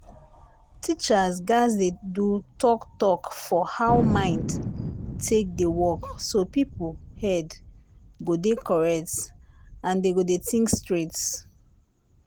teachers gatz dey do talk talk for how mind take dey work so people head go dey correct and dem go dey think straight.